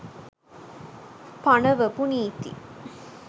පණවපු නීති